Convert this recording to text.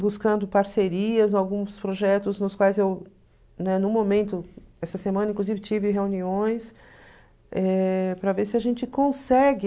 buscando parcerias, alguns projetos nos quais eu, né, no momento, essa semana, inclusive, tive reuniões eh para ver se a gente consegue...